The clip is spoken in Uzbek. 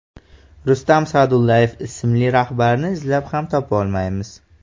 Rustam Sa’dullayev ismli rahbarni izlab ham topolmaymiz.